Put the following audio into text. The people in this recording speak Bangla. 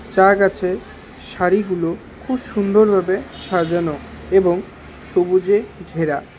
চা গাছে সারিগুলো খুব সুন্দরভাবে সাজানো এবং সবুজে ঘেরা।